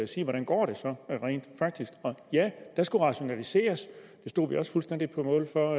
sige hvordan går det så rent faktisk ja der skulle rationaliseres det stod vi også fuldstændig på mål for